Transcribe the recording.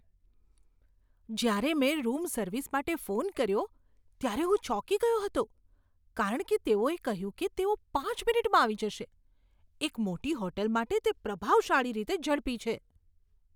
જ્યારે મેં room service માટે ફોન કર્યો ત્યારે હું ચોંકી ગયો હતો કારણ કે તેઓએ કહ્યું કે તેઓ પાંચ મિનિટમાં આવી જશે. એક મોટી હોટલ માટે તે પ્રભાવશાળી રીતે ઝડપી છે!